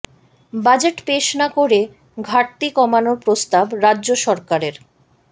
budget পেশ না করে ঘাটতি কমানোর প্রস্তাব রাজ্য সরকারের